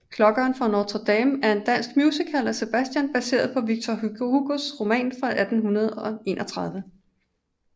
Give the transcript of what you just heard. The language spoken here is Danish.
Klokkeren fra Notre Dame er en dansk musical af Sebastian baseret på Victor Hugos roman fra 1831